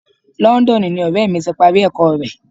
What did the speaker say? Londonu ni ọrẹ mi ti parí ẹ̀kọ́ rè.